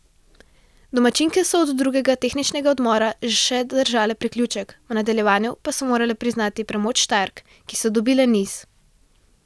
Domačinke so do drugega tehničnega odmora še držale priključek, v nadaljevanju pa so morale priznati premoč Štajerk, ki so dobile niz.